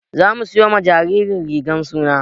Za muje siyo ma jinjiran rigan suna.